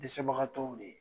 Desɛbagatɔw de ye.